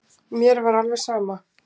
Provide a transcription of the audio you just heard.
Mér var alveg saman.